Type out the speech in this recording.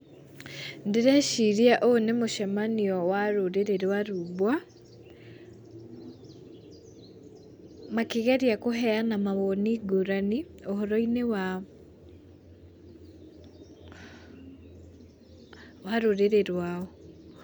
Ndĩreciria ũyũ nĩ mũcemanio wa rũrĩrĩ rwa rumbwa, makĩgeria kũheana mawoni ngũrani ũhoro-inĩ wa wa rũrĩrĩ rwao.